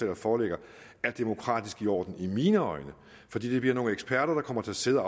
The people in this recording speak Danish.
der foreligger er demokratisk i orden i mine øjne fordi det bliver nogle eksperter der kommer til at sidde